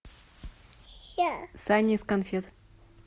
сани из конфет